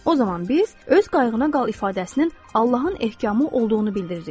O zaman biz öz qayğına qal ifadəsinin Allahın ehkamı olduğunu bildiririk.